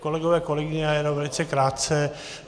Kolegové, kolegyně, já jenom velice krátce.